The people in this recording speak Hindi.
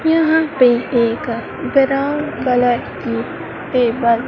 यहां पर एक ब्राउन कलर की पेपर --